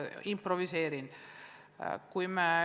Improviseerin.